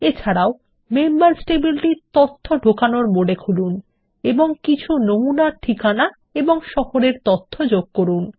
এছাড়াও মেম্বার্স টেবিলটি তথ্য ঢোকানোর মোডে খুলুন এবং কিছু নমুনা ঠিকানা এবং শহর তথ্য যোগ করুন